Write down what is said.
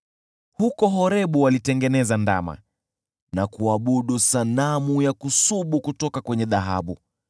Huko Horebu walitengeneza ndama, na kuabudu sanamu ya kusubu kwa chuma.